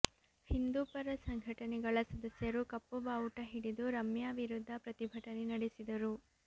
ಹಿಂದೂಪರ ಸಂಘಟನೆಗಳ ಸದಸ್ಯರು ಕಪ್ಪು ಬಾವುಟ ಹಿಡಿದು ರಮ್ಯಾ ವಿರುದ್ಧ ಪ್ರತಿಭಟನೆ ನಡೆಸಿದರು